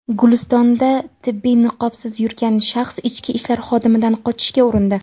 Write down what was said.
Gulistonda tibbiy niqobsiz yurgan shaxs ichki ishlar xodimidan qochishga urindi.